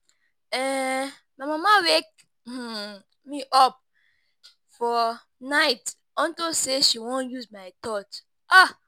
um My mama wake um me up fir night unto say she wan use my torch.